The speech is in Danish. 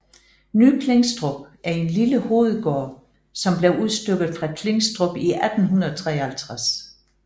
Ny Klingstrup er en lille hovedgård som blev udstykket fra Klingstrup i 1853